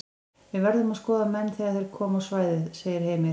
Við verðum að skoða menn þegar þeir koma á svæðið segir Heimir.